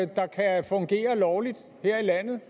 der kan fungere lovligt her i landet